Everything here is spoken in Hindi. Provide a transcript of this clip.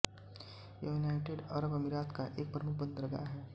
यह यूनाइटेड अरब अमीरात का एक प्रमुख बंदरगाह है